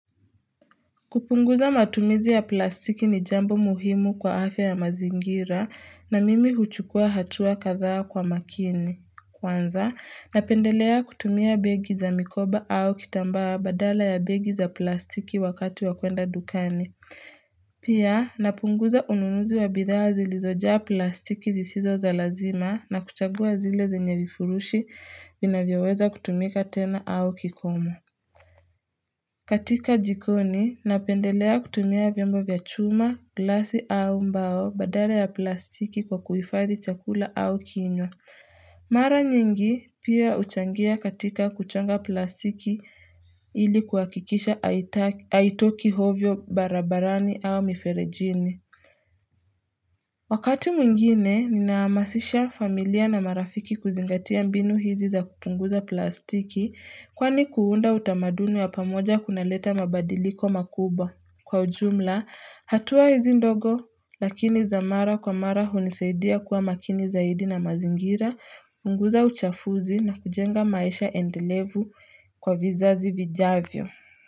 Kupunguza matumizi ya plastiki ni jambo muhimu kwa afya ya mazingira na mimi huchukua hatua kadhaa kwa makini. Kwanza, napendelea kutumia begi za mikoba au kitambaa badala ya begi za plastiki wakati wa kwenda dukani. Pia, napunguza ununuzi wa bidhaa zilizojaa plastiki zisizo za lazima na kuchagua zile zenye vifurushi vinavyoweza kutumika tena au kikomo. Katika jikoni, napendelea kutumia vyombo vya chuma, glasi au mbao badala ya plastiki kwa kuhifadi chakula au kinywa. Mara nyingi pia huchangia katika kuchanga plastiki ili kuhakikisha haitoki ovyo barabarani au miferejini. Wakati mwingine, ninahamasisha familia na marafiki kuzingatia mbinu hizi za kupunguza plastiki kwani kuunda utamadunu ya pamoja kunaleta mabadiliko makuba kwa ujumla, hatua hizi ndogo lakini za mara kwa mara hunisaidia kuwa makini zaidi na mazingira, punguza uchafuzi na kujenga maisha endelevu kwa vizazi vijavyo.